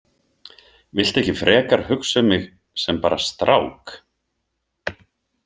Viltu ekki frekar hugsa um mig sem bara strák?